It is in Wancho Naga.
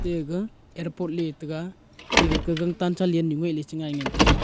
ega airport letaiga ate ga ka gang chalennu ngoiley chengai ngan taiga.